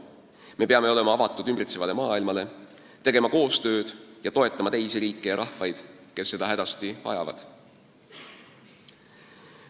Me peame olema avatud ümbritsevale maailmale, tegema koostööd ning toetama teisi riike ja rahvaid, kes seda hädasti vajavad.